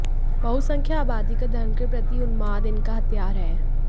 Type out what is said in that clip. बहुसंख्य आबादी का धर्म के प्रति उन्माद इनका हथियार है